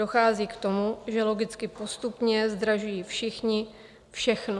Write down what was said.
Dochází k tomu, že logicky postupně zdražují všichni všechno.